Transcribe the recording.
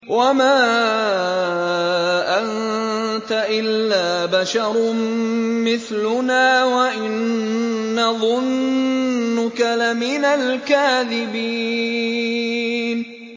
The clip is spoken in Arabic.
وَمَا أَنتَ إِلَّا بَشَرٌ مِّثْلُنَا وَإِن نَّظُنُّكَ لَمِنَ الْكَاذِبِينَ